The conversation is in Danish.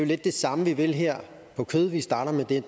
lidt det samme vi vil her på kød vi starter med det